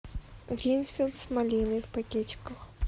гринфилд с малиной в пакетиках